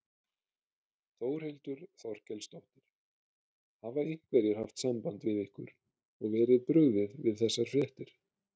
Þórhildur Þorkelsdóttir: Hafa einhverjir haft samband við ykkur og verið brugðið við þessar fréttir?